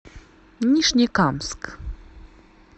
нижнекамск